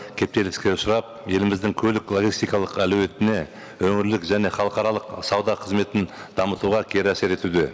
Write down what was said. кептеліске ұшырап еліміздің көлік логистикалық әлеуетіне өңірлік және халықаралық сауда қызметін дамытуға кері әсер етуде